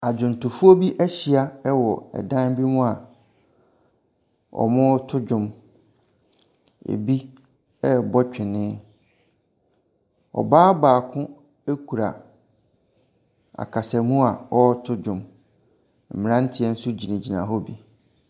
Adwontofoɔ bi ɛhyia wɔ dan bi mu a ɔreto dwom. Ebi rebɔ twene, ɔbaa baako kuta akasamuu a ɔreto dwom. Mmranteɛ nso gyinagyina hɔ bi.